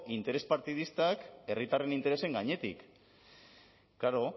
interes partidistak herritarren interesen gainetik klaro